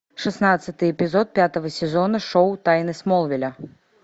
шестнадцатый эпизод пятого сезона шоу тайны смолвиля